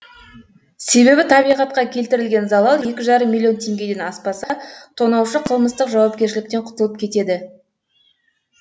себебі табиғатқа келтірілген залал екі жарым миллион теңгеден аспаса тонаушы қылмыстық жауапкершіліктен құтылып кетеді